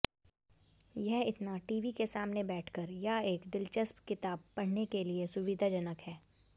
यह इतना टीवी के सामने बैठकर या एक दिलचस्प किताब पढ़ने के लिए सुविधाजनक है